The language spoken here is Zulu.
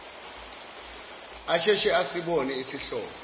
asheshe asibone isihlobo